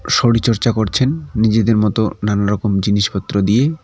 শরীরচর্চা করছেন নিজেদের মতো নানারকম জিনিসপত্র দিয়ে।